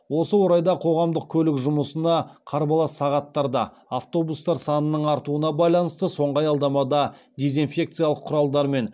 осы орайда қоғамдық көлік жұмысына қарбалас сағаттарда автобустар санының артуына байланысты соңғы аялдамада дезинфекциялық құралдармен